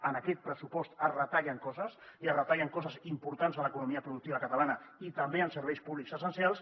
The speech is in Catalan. en aquest pressupost es retallen coses i es retallen coses importants en l’economia productiva catalana i també en serveis públics essencials